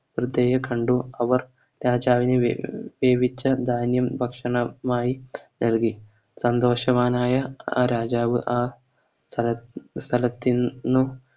സ്ത്രീയെകണ്ടു അവർ രാജാവിന് വേ വേവിച്ച ധാന്യം ഭക്ഷണമായി നൽകി സന്തോഷവാനായ ആ രാജാവ് ആ ഷാ സ്ഥലത്ത് ന്നും